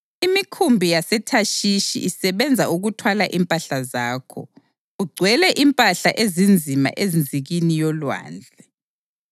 Imikhumbi yaseThashishi isebenza ukuthwala impahla zakho. Ugcwele impahla ezinzima enzikini yolwandle.